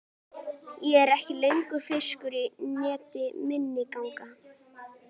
Og ég er ekki lengur fiskur í neti minninganna.